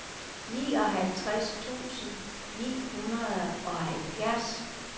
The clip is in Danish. nioghalvtreds tusind ni hundrede og halvfjerds